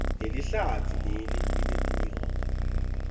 lelihlatsi leli linetinyoka